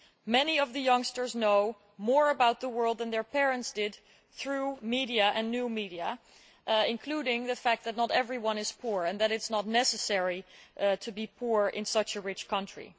Many of the youngsters know more about the world than their parents did, through media and new media, including the fact that not everyone is poor and that it is not necessary to be poor in such a rich country.